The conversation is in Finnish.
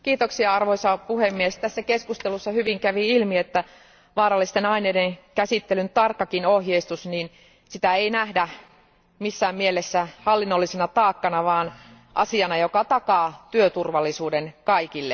Arvoisa puhemies, tässä keskustelussa kävi hyvin ilmi, että vaarallisten aineiden käsittelyn tarkkaakaan ohjeistusta ei nähdä missään mielessä hallinnollisena taakkana, vaan asiana, joka takaa työturvallisuuden kaikille.